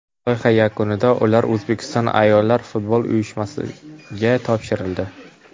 Loyiha yakunida ular O‘zbekiston ayollar futboli uyushmasiga topshirildi.